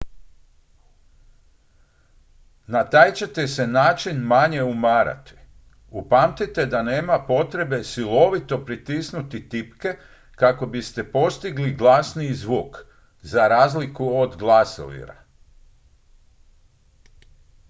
na taj ćete se način manje umarati upamtite da nema potrebe silovito pritisnuti tipke kako biste postigli glasniji zvuk za razliku od glasovira